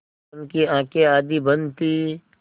उनकी आँखें आधी बंद थीं